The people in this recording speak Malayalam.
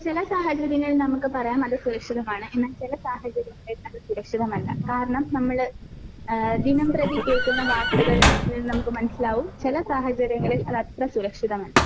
ചില സാഹചര്യങ്ങളിൽ നമുക്ക് പറയാം അത് സുരക്ഷിതമാണ് എന്നാൽ ചില സാഹചര്യങ്ങളിൽ അത് സുരക്ഷിതമല്ല. കാരണം നമ്മള് ഏഹ് ദിനംപ്രതി കേൾക്കുന്ന വാർത്തകള് കളിൽ നിന്ന് നമുക്ക് മനസ്സിലാകും. ചില സാഹചര്യങ്ങളിൽ അത് അത്ര സുരക്ഷിതമല്ല.